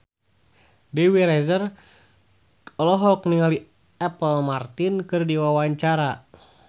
Dewi Rezer olohok ningali Apple Martin keur diwawancara